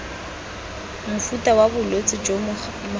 mofuta wa bolwetse jo mogare